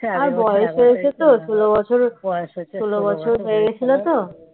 আর বয়স হয়েছে তো ষোলো বছর বয়স হয়েছে ষোলো বছর হয়ে গেছিলো তো